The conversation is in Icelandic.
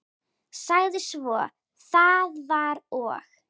Sagði svo: Það var og